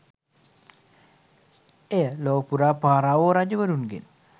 එය ලොවපුරා පාරාවෝ රජවරුන්ගෙන්